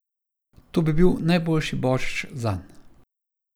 To bi bil najboljši božič zanj.